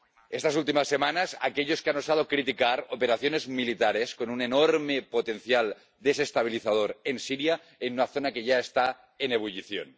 Estas últimas semanas, también aquellos que han osado criticar operaciones militares con un enorme potencial desestabilizador en Siria, en una zona que ya está en ebullición.